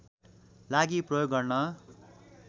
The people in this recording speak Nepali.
लागि प्रयोग गर्न